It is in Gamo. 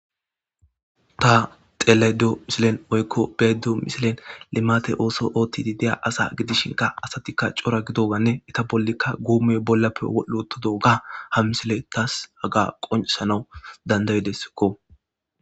Ta xeledo misilen woykko beedo misilen limate ooso ootti di deya asa gidishin ka asatikka cora gidoganne eta bollikka guume bollappe otodoga ha misile tas haga qonesanau dandaydeskko.